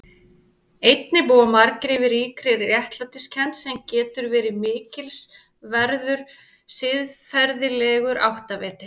Einnig búa margir yfir ríkri réttlætiskennd sem getur verið mikilsverður siðferðilegur áttaviti.